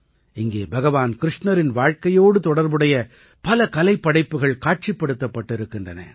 இங்கே பகவான் கிருஷ்ணரின் வாழ்க்கையோடு தொடர்புடைய பல கலைப்படைப்புகள் காட்சிப்படுத்தப்பட்டிருக்கின்றன